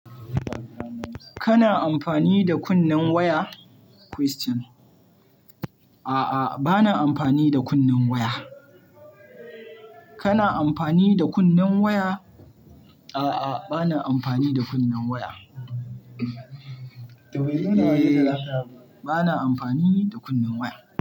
Kana amfani da kunnen waya? Question. A'a, bana amfani da kunnen waya. Kana amfani da kunnen waya? A'a, bana amfani da kunnen waya. Eh, bana amfani da kunnen waya.